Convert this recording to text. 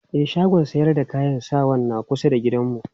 E, shagon sayar da kayan sawan na kusa da gidanmu.